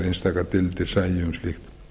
einstaka deildir eru um slíkt